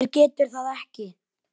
Hver getur það ekki?